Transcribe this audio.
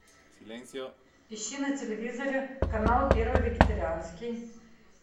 ищи на телевизоре канал первый вегетарианский